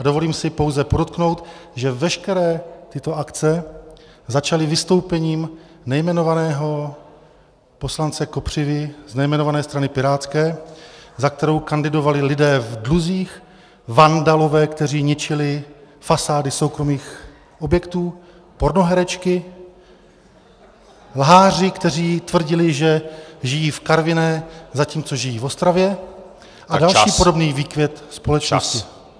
A dovolím si pouze podotknout, že veškeré tyto akce začaly vystoupením nejmenovaného poslance Kopřivy z nejmenované strany pirátské, za kterou kandidovali lidé v dluzích, vandalové, kteří ničili fasády soukromých objektů, pornoherečky, lháři, kteří tvrdili, že žijí v Karviné, zatímco žijí v Ostravě , a další podobný výkvět společnosti.